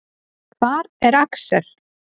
Hvar er Axel?